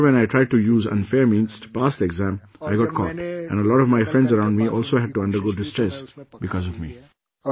Moreover, when I tried to use unfair means to pass the exam, I got caught and a lot of my friends around me also had to undergo distress because of me